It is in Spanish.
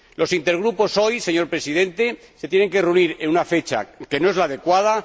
Los intergrupos hoy, señor Presidente, se tienen que reunir en una fecha que no es la adecuada.